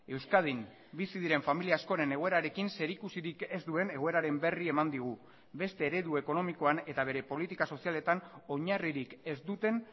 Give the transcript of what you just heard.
euskadin bizi diren familia askoren egoerarekin zerikusirik ez duen egoeraren berri eman digu beste eredu ekonomikoan eta bere politika sozialetan oinarririk ez duten